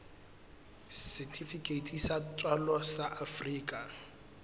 setifikeiti sa tswalo sa afrika